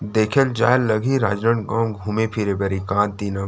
देखेल जायल लगही राजनंदगाव घूमे फिरे बर एकाद दिन और--